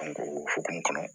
o hokumu kɔnɔ